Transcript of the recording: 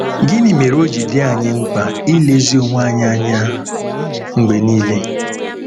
Gịnị mere o ji dị anyị mkpa ilezi onwe anyị anya mgbe nile?